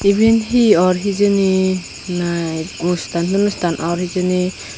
ebane he ore hejani na onustan tonustan or he jani.